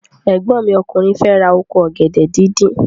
Ẹ̀gbọ́n mi ọkùnrin fẹ ra oko ọ̀gẹ̀dẹ̀ díndín.